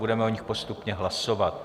Budeme o nich postupně hlasovat.